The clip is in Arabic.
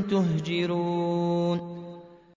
تَهْجُرُونَ